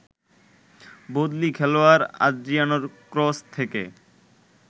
বদলি খেলোয়াড় আদ্রিয়ানোর ক্রস থেকে